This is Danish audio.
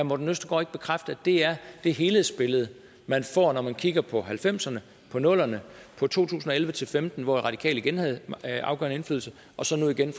morten østergaard ikke bekræfte det er det helhedsbillede man får når man kigger på nitten halvfemserne på nullerne på to tusind og elleve til femten hvor radikale igen havde afgørende indflydelse og så nu igen